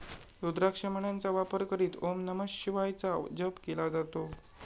रुद्राक्ष मण्यांचा वापर करीत ओम नमः शिवायचा जप केला जातो.